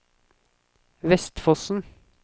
Vestfossen